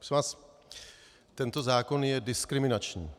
Prosím vás, tento zákon je diskriminační.